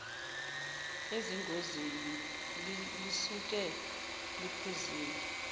ezingozini lisuke liphuzile